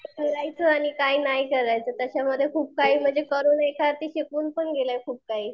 आणि काय नाही करायचं तशामध्ये खूप काही एका अर्थी शिकवून पण गेलंय खूप काही.